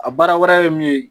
A baara wɛrɛ ye min ye